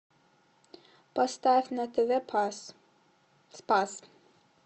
поставь на тв пас спас